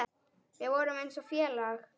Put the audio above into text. Við vorum eins og félag.